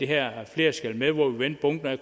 her flere skal med hvor vi vendte bunken og